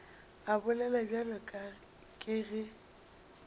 a bolela bjalo ke ge